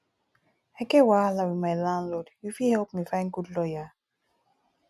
i get wahala wit my landlord you fit help me find good lawyer